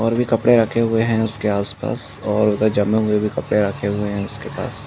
और भी कपड़े रखे हुए हैं उसके आसपास और उधर जमे हुए भी कपड़े रखे हुए हैं उसके पास।